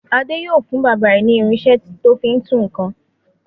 Adé yóò fún bàbá rẹ̀ ní irinṣẹ́ tó fi ń tú nǹkan.